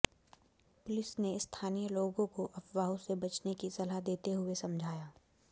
police ने स्थानीय लोगों को अफवाहों से बचने की सलाह देते हुए समझाया